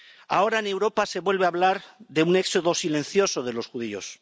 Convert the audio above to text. Ahora en Europa se vuelve a hablar de un éxodo silencioso de los judíos.